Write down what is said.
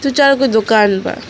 तीन चार गो दुकान बा।